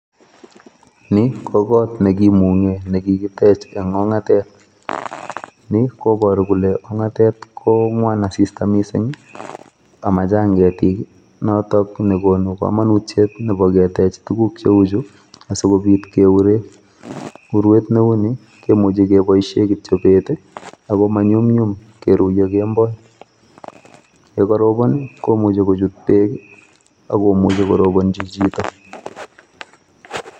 Ni ko kot nekimung'e nekikitech eng' ong'atet. Ni koboru kole ong'atet kong'wan asista mising, amachang ketik, noto nekonu kamanutiet nebo ketech tuguk cheuchu asikobit keuree. Urwet neu ni kemuchi keboishe kityo bet ako manyumnyum keruiyo kemboi. Yekarobon komuchi kochut beek ak komuchi korobonchi chito.